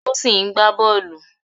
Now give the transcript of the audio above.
Tosin ń gbá bọ́ọ̀lù.